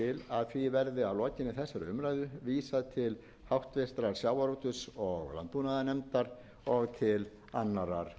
að lokinni þessari umræðu vísað til háttvirtrar sjávarútvegs og landbúnaðarnefndar og til annarrar